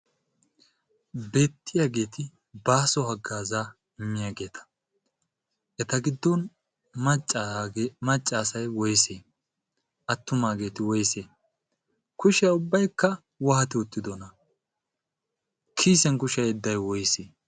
beettiyaageeti baaso haggaazaa immiyaageeta eta giddon maccaasai woise attumaageeti woise kushiya ubbaikka waati uttidoona. kiyisen kushiya yedday woyse?